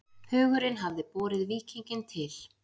Hugurinn hafði borið víkinginn til